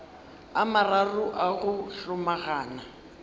a mararo a go hlomagana